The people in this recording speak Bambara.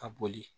Ka boli